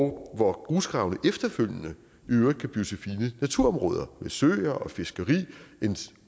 hvor grusgravene efterfølgende i øvrigt kan blive til fine naturområder med søer og fiskeri